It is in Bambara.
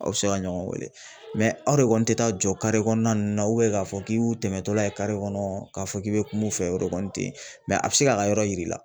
Aw bɛ se ka ɲɔgɔn weele aw de kɔni tɛ taa jɔ kare kɔnɔna nunnu na k'a fɔ k'i y'u tɛmɛtɔla ye kare kɔnɔ k'a fɔ k'i bɛ kumun u fɛ o de kɔni tɛ ye a bɛ se k'a ka yɔrɔ yir'i la.